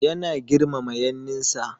Yana girmama yanninsa.